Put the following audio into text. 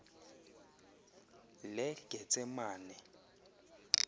legetsemane